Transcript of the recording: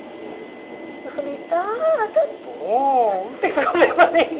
Eu falei, tá, está bom, não tem problema nenhum.